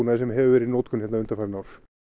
sem hefur verið í notkun hérna undanfarin ár